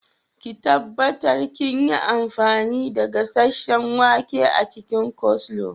Ki tabbatar kinyi amfanin da gasheshshen wake a cikin coleslaw.